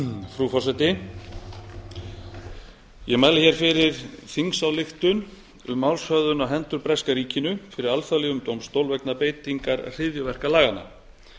frú forseti ég mæli fyrir þingsályktun um málshöfðun á hendur breska ríkinu fyrir alþjóðlegum dómstól vegna beitingar hryðjuverkalaganna